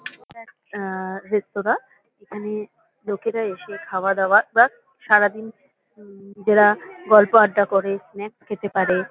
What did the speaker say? এটা একটা এ-এ রেঁস্তোরা। এখানে লোকেরা এসে খাওয়া-দাওয়া বা সারাদিন নিজেরা গল্প আড্ডা করে স্নাক্স খেতে পারে।